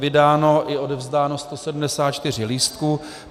Vydáno i odevzdáno 174 lístků.